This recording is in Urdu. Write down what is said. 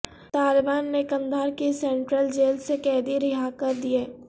طالبان نے قندھار کی سینٹرل جیل سے قیدی رہا کر دیے